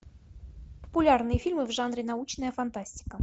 популярные фильмы в жанре научная фантастика